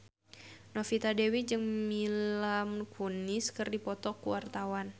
Novita Dewi jeung Mila Kunis keur dipoto ku wartawan